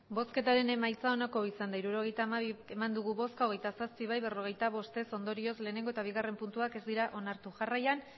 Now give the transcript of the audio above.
emandako botoak hirurogeita hamabi bai hogeita zazpi ez berrogeita bost ondorioz lehenengo eta bigarren puntuak ez dira onartu jarraian